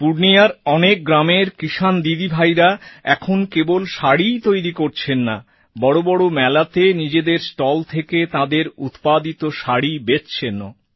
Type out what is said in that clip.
পূর্ণিয়ার অনেক গ্রামের কিসান দিদিভাইরা এখন কেবল শাড়িই তৈরি করছেন না বড় বড় মেলাতে নিজেদের স্টল থেকে তাঁদের উৎপাদিত শাড়ি বেচছেনও